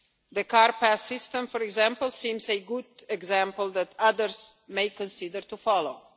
measures. The Car Pass system, for example, seems a good example that others may consider